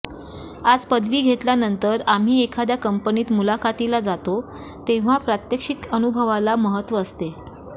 आज पदवी घेतल्यानंतर आम्ही एखाद्या कंपनीत मुलाखतीला जातो तेव्हा प्रात्यक्षिक अनुभवाला महत्त्व असते